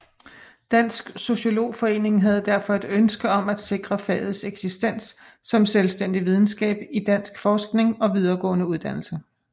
Dansk Sociologforening havde derfor et ønske om at sikre fagets eksistens som selvstændig videnskab i dansk forskning og videregående uddannelse